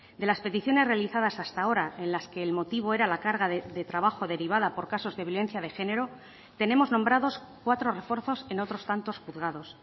de las peticiones realizadas hasta ahora en las que el motivo era la carga de trabajo derivada por casos de violencia de género tenemos nombrados cuatro refuerzos en otros tantos juzgados